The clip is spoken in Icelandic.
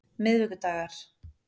miðvikudagar